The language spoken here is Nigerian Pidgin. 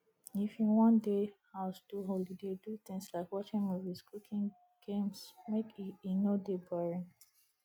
if you won de house do holiday do things like watching movies cooking games make e e no de boring